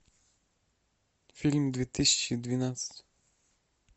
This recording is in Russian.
фильм две тысячи двенадцать